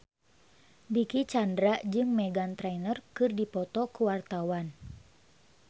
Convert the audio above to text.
Dicky Chandra jeung Meghan Trainor keur dipoto ku wartawan